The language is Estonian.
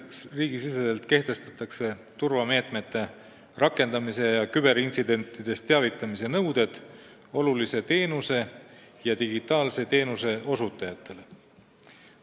Riigi sees kehtestatakse turvameetmete rakendamise ja küberintsidentidest teavitamise nõuded olulise teenuse ja digitaalse teenuse osutajatele.